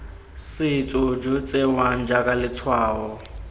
setso jo tsewang jaaka letshwao